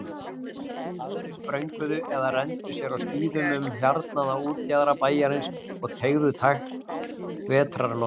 Aðrir sprönguðu eða renndu sér á skíðum um hjarnaða útjaðra bæjarins og teyguðu tært vetrarloftið.